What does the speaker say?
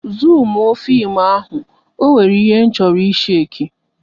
Zumuo fim ahụ, ọ nwere ihe m chọrọ ịshake